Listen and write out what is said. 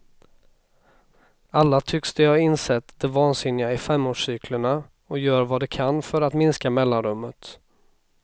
Alla tycks de ha insett det vansinniga i femårscyklerna och gör vad de kan för att minska mellanrummet.